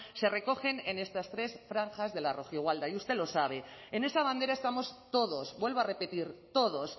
se recoge en estas tres franjas de la rojigualda y usted lo sabe en esa bandera estamos todos vuelvo a repetir todos